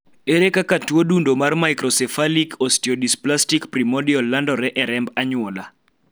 ere kaka tuo dundo mar microcephalic osteodysplastic primordial landore e remb anyuola